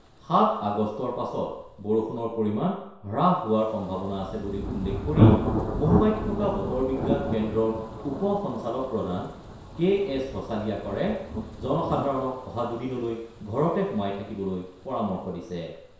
৭ আগষ্টৰ পাছত বৰষুণৰ পৰিমাণ হ্ৰাস হোৱাৰ সম্ভাৱনা আছে বুলি উল্লেখ কৰি মুম্বাইত থকা বতৰ বিজ্ঞান কেন্দ্ৰৰ উপ সঞ্চালক প্ৰধান কে এছ হছালিয়াকাৰে জনসাধাৰণক অহা দুদিনলৈ ঘৰতে সোমাই থাকিবলৈ পৰামৰ্শ দিছে।